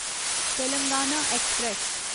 Telangana express